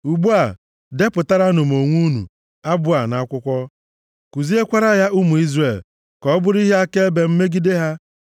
“Ugbu a, depụtaranụ onwe unu abụ a nʼakwụkwọ, kuziekwara ya ụmụ Izrel, ka ọ bụrụ ihe akaebe m megide ha.